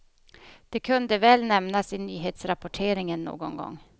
Det kunde väl nämnas i nyhetsrapporteringen någon gång.